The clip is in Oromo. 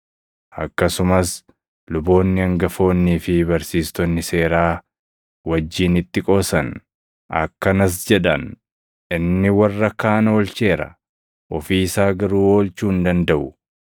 Akkasumas luboonni hangafoonnii fi barsiistonni seeraa wajjin itti qoosan. Akkanas jedhan; “Inni warra kaan oolcheera; ofii isaa garuu oolchuu hin dandaʼu!